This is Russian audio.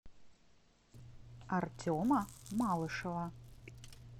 артема малышева